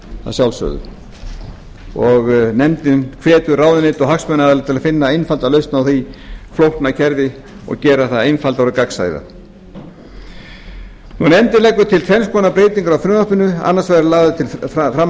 að sjálfsögðu nefndin hvetur ráðuneytið og hagsmunaaðila til að finna einfalda lausn á því flókna kerfi og gera það einfaldara og gagnsærra nefndin leggur til tvenns konar breytingar á frumvarpinu annars vegar eru laga til